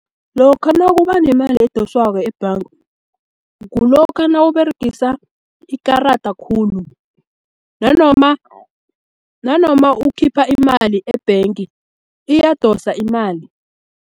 Lokha nakubanemali edoswako ebhanga, kulokha nawuberegisa ikarada khulu, nanoma ukhipha imali e-bank iyabadosa imali.